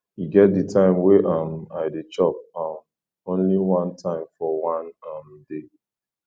e get di time wey um i dey chop um only one time for one um day